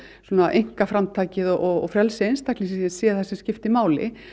einkaframtakið og frelsi einstaklingsins sé það sem skipti máli